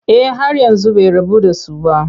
Eh har yanzu bai rabu da su ba.